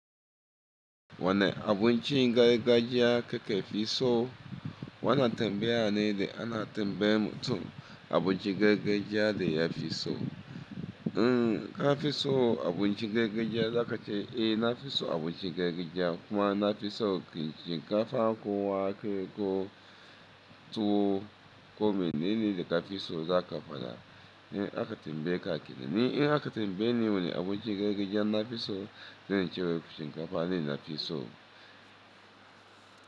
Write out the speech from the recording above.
Wane abinci gargajiya kake fi so? Wana tambaya ne da ana tambayar mutum abinci gargajiya da ya fi so. In ka fi so abinci gargajiya za ka ce eh na fi so abinci gargajiya kuma na fi so shinkafa ko wake ko tuwo ko mene ne da ka fi so za ka faɗa. In aka tambaye kenan ni in aka tambayeni wane abinci gargajiya na fi so, zan ce shinkafa ne na fi so.